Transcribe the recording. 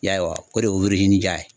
I y'a wa o de ye ye